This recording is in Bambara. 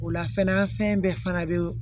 O la fɛnɛ bɛɛ fana bɛ